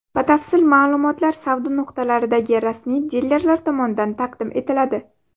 Batafsil ma’lumotlar savdo nuqtalaridagi rasmiy dilerlar tomonidan taqdim etiladi.